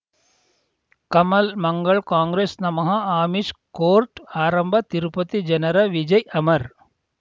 ಕಮಲ್ ಮಂಗಳ್ ಕಾಂಗ್ರೆಸ್ ನಮಃ ಅಮಿಷ್ ಕೋರ್ಟ್ ಆರಂಭ ತಿರುಪತಿ ಜನರ ವಿಜಯ್ ಅಮರ್